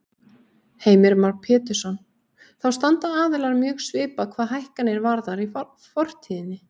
Heimir Már Pétursson: Þá standa aðilar mjög svipað hvað hækkanir varðar í fortíðinni?